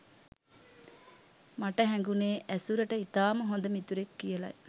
මට හැඟුණෙ ඇසුරට ඉතාම හොඳ මිතුරෙක් කියලයි.